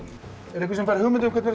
er einhver sem fær hugmynd um hvernig